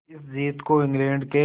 इस जीत को इंग्लैंड के